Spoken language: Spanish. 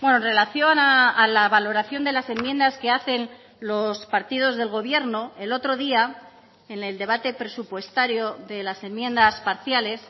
en relación a la valoración de las enmiendas que hacen los partidos del gobierno el otro día en el debate presupuestario de las enmiendas parciales